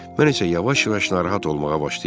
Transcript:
Mən isə yavaş-yavaş narahat olmağa başlayırdım.